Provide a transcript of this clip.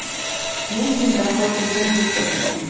Men bunda xotirjamlik topdim.